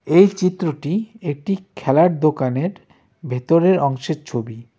এই চিত্রটি একটি খেলার দোকানের ভেতরের অংশের ছবি.